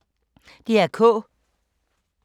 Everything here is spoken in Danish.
DR K